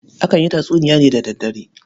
Akan yi tatsuniya ne da daddare.